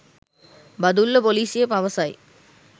බදුල්ල ‍පොලිසිය පවසයි